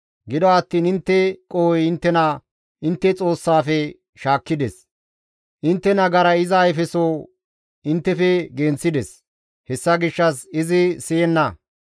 Gido attiin intte qohoy inttena intte Xoossaafe shaakkides; intte nagaray iza ayfeso inttefe genththides. Hessa gishshas izi siyenna.